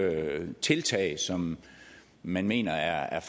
tiltag som man mener er